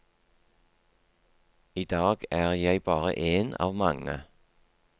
I dag er jeg bare én av mange.